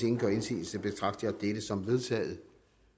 ingen gør indsigelse betragter jeg dette som vedtaget